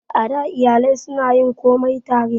A da, iyalai su na yin komai tare